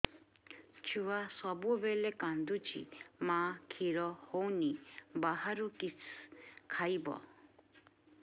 ଛୁଆ ସବୁବେଳେ କାନ୍ଦୁଚି ମା ଖିର ହଉନି ବାହାରୁ କିଷ ଖାଇବ